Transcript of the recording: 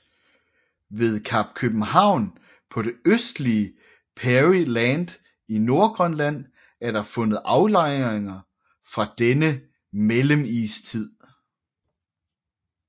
Ved Kap København på det østlige Peary Land i Nordgrønland er der fundet aflejringer fra denne mellemistid